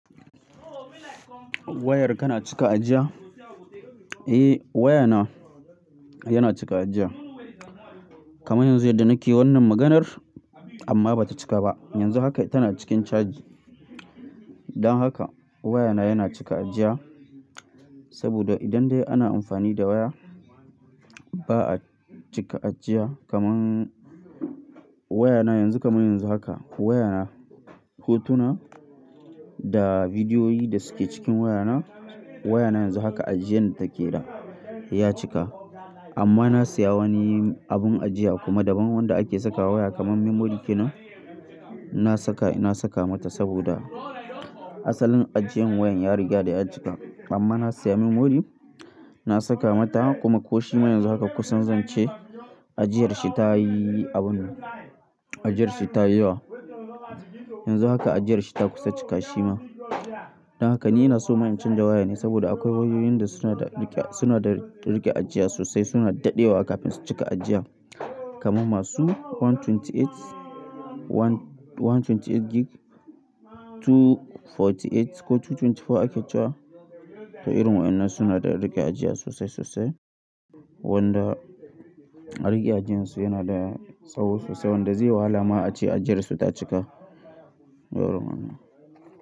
Wayar kana cika ajiya? Eh wayana yana cika ajiya. Kamar yanzu yadda nake wannan maganar amma bata cika ba. Yanzu haka tana cikin caji. Don haka wayana yana cika ajiya saboda idan dai ana amfani da waya, bala cika ajiya kaman wayana yanzu kaman yanzu haka wayana hotuna da bidiyoyi da suke cikin wayana, wayana yanzu haka ajiyan da take da ya cika. Amma na saya wani abin ajiya kuma daban wanda ake saka waya kaman memory kenan inna saka, na saka mata saboda asalin ajiyan wayan ya riga da ya cika. Amma na saya memory, na saka mata kuma ko shi man yanzu haka kusan zan ce ajiyar shi ta yi abun, ajiyar shi ta yi yawa. Yanzu haka ajiyar shi ta kusa cika shi ma. Don haka ni ina so ma in canja waya ne saboda akwai wayoyin da suna da riƙe, suna da riƙe ajiya sosai, suna daɗewa kafin su cika ajiya. Kaman masu one twenty eight, one twenty eight gig, two forty eight ko two twenty four ake cewa. To irin waƴnan suna da riƙe ajiya sosai sosai wanda riƙe ajiyan su yana da tsawo sosai wanda zai yi wahala ma a ce ajiyar su ta cika. Yawau kenan.